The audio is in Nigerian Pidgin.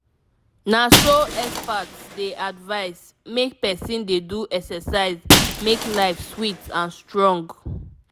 na so experts dey advise—make person dey do exercise make life sweet and strong.